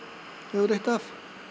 hefur reitt af